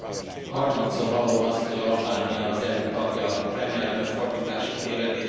Harmadszor hallom azt, hogy Albánia az EU tagja, remélem, hogy fordítási tévedés.